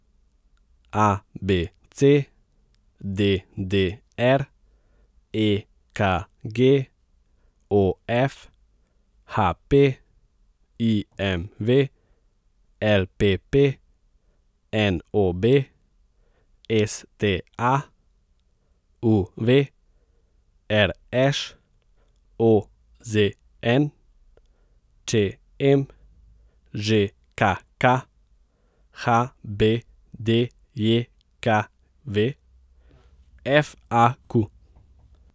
A B C; D D R; E K G; O F; H P; I M V; L P P; N O B; S T A; U V; R Š; O Z N; Č M; Ž K K; H B D J K V; F A Q.